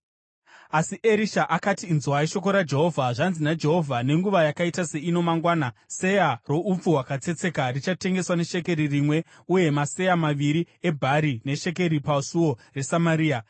Asi Erisha akati, “Inzwai shoko raJehovha. Zvanzi naJehovha: Nenguva yakaita seino mangwana, seya roupfu hwakatsetseka richatengeswa neshekeri rimwe uye maseya maviri ebhari neshekeri pasuo reSamaria.”